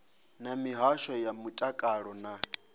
na mihasho ya mutakalo na